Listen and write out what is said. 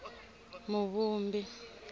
muvumbi